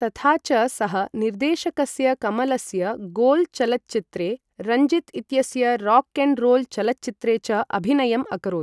तथा च, सः निर्देशकस्य कमलस्य गोल् चलच्चित्रे, रञ्जित इत्यस्य राक् एण्ड् रोल् चलच्चित्रे च अभिनयम् अकरोत्।